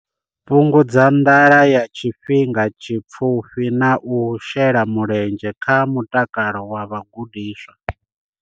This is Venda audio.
Fhungudza nḓala ya tshifhinga tshipfufhi na u shela mulenzhe kha mutakalo wa vhagudiswa.